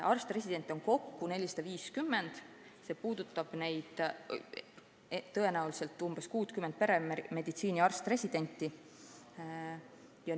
Arst-residente on kokku 450, see muudatus puudutab tõenäoliselt umbes 60 peremeditsiini valdkonna arst-residenti.